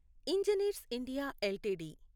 engineers India LTD